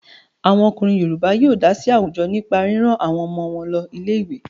Àwọn ọkùnrin Yorùbá yóó dá sí àwùjọ nípa rírán àwọn ọmọ wọn lọ ilé ìwé.